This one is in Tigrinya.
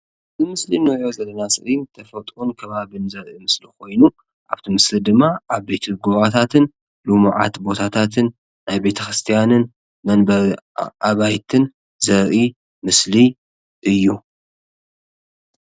እዚ ምስሊ ንሪኦ ዘለና ስእሊ ተፈጥሮን ከባቢ ኮይኑ ኣብቲ ምስሊ ድማ ዓበይቲ ጎቦታትን ልሙዓት ቦታታትን ናይ ቤተ ክርስትያንን መንበሪ ኣባይትን ዘርኢ ምስሊ እዩ ፡፡